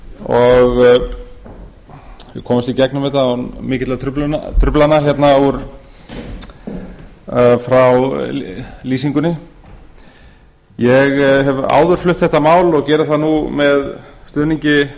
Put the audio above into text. og við komumst í gegnum þetta án mikilla truflana frá lýsingunni ég hef áður flutt þetta mál og geri það nú með stuðningi